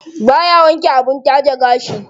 Baya wanke abin taje gashi.